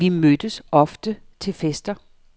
Vi mødtes ofte til fester.